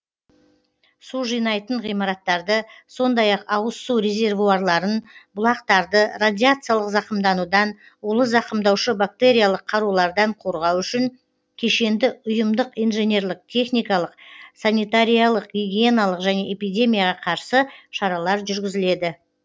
су жинайтын ғимараттарды сондай ақ ауыз су резервуарларын бұлақтарды радиациялық зақымданудан улы зақымдаушы бактериялық қарулардан қорғау үшін кешенді ұйымдық инженерлік техникалық санитариялық гигиеналық және эпидемияға қарсы шаралар жүргізіледі